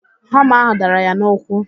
Hama ahụ dara ya n'ụkwụ